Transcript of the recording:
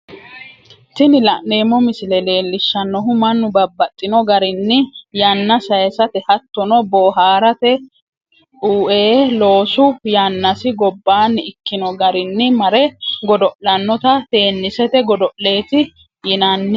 Tini la'neemo misile leellishanohu mannu babaxxino garinni yana sayisatte hattono boohaarate uee loosu yanasi gobbaani ikkino garino mare godo'lannotta teenniisete godo'leeti yinanni